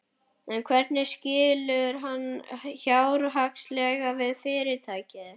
En hvernig skilur hann fjárhagslega við fyrirtækið?